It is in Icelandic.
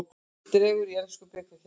Dregið í ensku bikarkeppninni